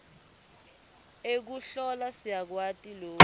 ekuhlola siyakwati loku